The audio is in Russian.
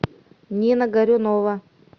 нина горюнова